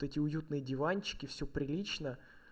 вот эти уютные диванчики всё прилично